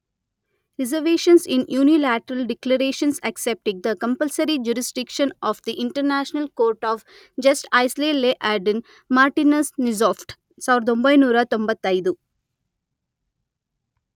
reservations in unilateral declarations accepting the compulsory jurisdiction of the international court of justice Leiden Martinus Nijhoff ಸಾವಿರದ ಒಂಬೈನೂರ ತೊಂಬತೈದು..